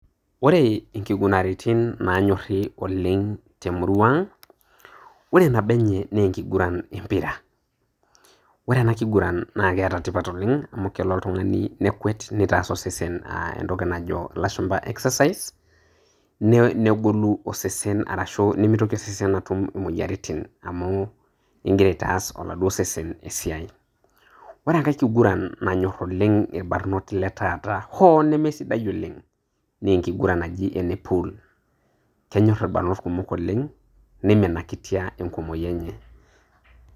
Ore ikigunaritin nanyorri oleng' temurua ang',ore nabo enye na enkiguran empira. Ore enakiguran na keeta tipat oleng',amu kelo oltung'ani nekwet, nitaas osesen ah entoki najo ilashumpa exercise ,negolu osesen arashu nimitoki osesen atum imoyiaritin amu igira aitaas oladuo sesen esiai. Ore enkae kiguran nanyor oleng' irbanot letaata, hoo nemesidai oleng',naa enkiguran naji ene puul. Kenyor irbanot kumok oleng',niminakitia enkumoyu enye.